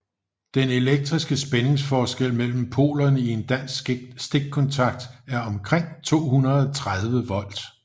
Den elektriske spændingsforskel mellem polerne i en dansk stikkontakt er omkring 230 volt